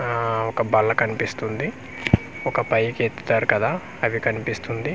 ఆ ఒక బల్ల కనిపిస్తుంది ఒక పైకెత్తారు కదా అవి కనిపిస్తుంది.